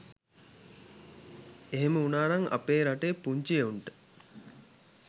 එහෙම වුණානම් අපේ රටේ පුංචි එවුන්ට